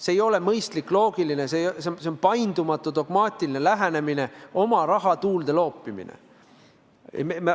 See ei ole mõistlik, loogiline, see on paindumatu dogmaatiline lähenemine, oma raha tuulde loopimine.